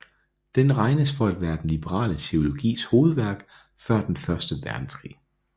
Den regnes for at være den liberale teologis hovedværk før den første verdenskrig